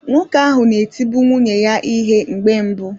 Nwoke ahụ na-etibu nwunye ya ihe mgbe mbụ